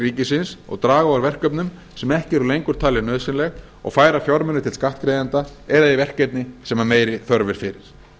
ríkisins og draga úr verkefnum sem ekki eru lengur talin nauðsynleg og færa fjármuni til skattgreiðenda eða í verkefni sem meiri þörf er fyrir